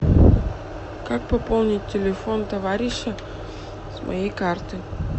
как пополнить телефон товарища с моей карты